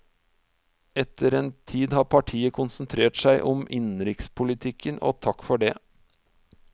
Etter den tid har partiet konsentrert seg om innenrikspolitikken, og takk for det.